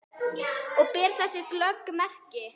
Og ber þess glöggt merki.